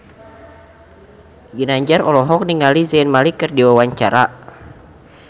Ginanjar olohok ningali Zayn Malik keur diwawancara